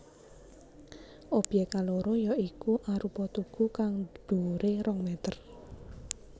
Obyèk kaloro ya iku arupa tugu kang dhuwuré rong mèter